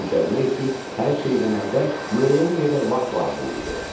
Cücərmək üçün hər şeydən əvvəl müəyyən qədər vaxt lazım idi.